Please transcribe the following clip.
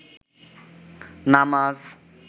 নামাজ